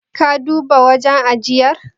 Ka duba wajen ajiyar?